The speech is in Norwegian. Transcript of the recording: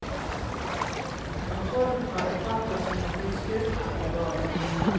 Kontrollen fra etater som gir tilskudd, er for dårlig.